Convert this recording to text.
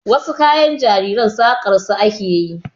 Wasu kayan jarirai saƙar su ake yi.